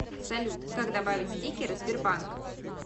салют как добавить стикеры сбербанк